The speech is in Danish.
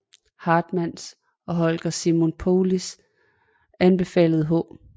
Hartmanns og Holger Simon Paullis anbefaling H